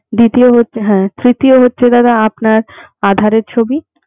দ্বিতীয় হচ্ছে হ্যা তৃতীয় হচ্ছে দাদা আপনার aadhar এর ছবি